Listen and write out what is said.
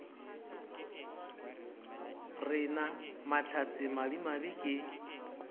re na mahlatse madimabe ke